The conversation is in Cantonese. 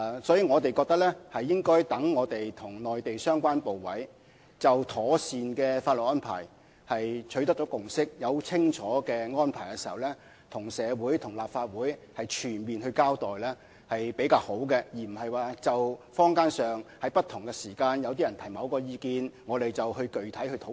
所以，我們覺得在我們與內地相關部委就妥善的法律安排取得共識和訂定清楚的安排時，才向社會和立法會作全面交代是比較好的做法，而不是就坊間不同時間、不同人士提出的某些意見作具體討論。